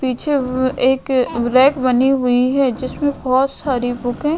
पीछे एक रैक बनी हुई है जिसमें बहुत सारी बुक हैं।